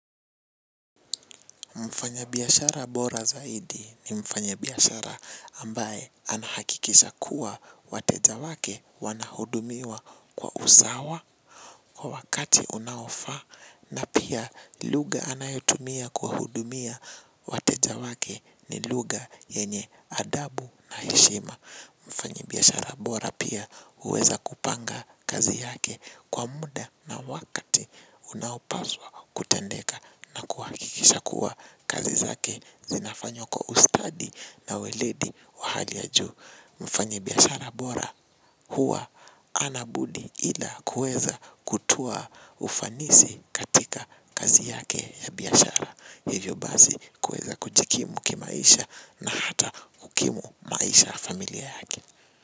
Mfanyabiashara bora zaidi ni mfanyabiashara ambaye anahakikisha kuwa wateja wake wanahudumiwa kwa usawa kwa wakati unaofaa na pia lugha anayotumia kuwahudumia wateja wake ni lugha yenye adabu na heshima. Mfanyibiashara bora pia huweza kupanga kazi yake kwa muda na wakati unaopaswa kutendeka na kuhakikisha kuwa kazi zake zinafanywa kwa ustadi na weledi wa hali ya juu. Mfanyibiashara bora huwa hana budi ila kuweza kutoa ufanisi katika kazi yake ya biashara. Hivyo basi kuweza kujikimu kimaisha na hata kukimu maisha ya familia yake.